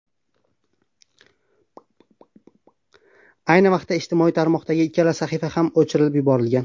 Ayni vaqtda ijtimoiy tarmoqdagi ikkala sahifa ham o‘chirib yuborilgan.